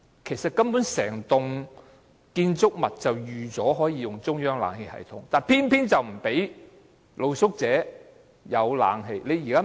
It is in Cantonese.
其實，整幢建築物本可以提供中央冷氣系統，但政府偏偏不讓露宿者享用。